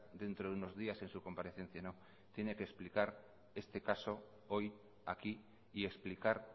dentro de unos días en su comparecencia no tiene que explicar este caso hoy aquí y explicar